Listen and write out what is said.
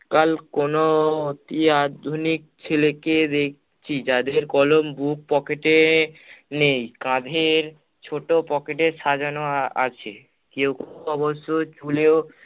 কাল কোনো অতি আধুনিক ছেলেকে দেখছি যাদের কলম বুক pocket এ নেই, কাঁধের ছোট pocket এ সাজানো আছে। কেউ কেউ অবশ্য চুলেও